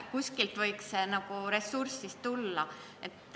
Kuskilt võiks ressurss tulla.